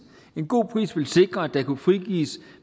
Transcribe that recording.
en god pris ville sikre at der kunne frigives